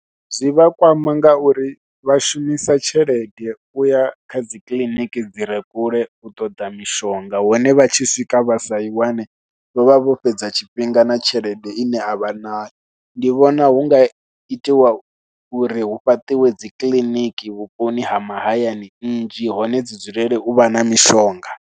Zwi vha kwama ngauri vha shumisa tshelede u ya kha dzi kiliniki dzi re kule u ṱoḓa mishonga, hone vha tshi swika vha sa i wane vha vha vho fhedza tshifhinga nga na tshelede ine a vha nayo. Ndi vhona hu nga itiwa uri hu fhaṱiwe dzi kiḽiniki vhuponi ha mahayani nnzhi hone dzi dzulele u vha na mishonga.